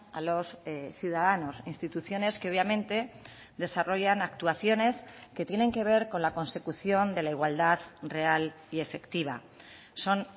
a los ciudadanos instituciones que obviamente desarrollan actuaciones que tienen que ver con la consecución de la igualdad real y efectiva son